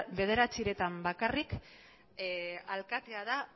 bederatzietan bakarrik alkatea da